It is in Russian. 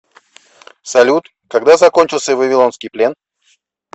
салют когда закончился вавилонский плен